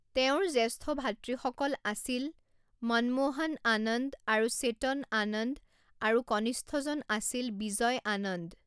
তেওঁৰ জ্যষ্ঠ ভাতৃসকল আছিল মনমোহন আনন্দ আৰু চেতন আনন্দ আৰু কনিষ্ঠজন আছিল বিজয় আনন্দ।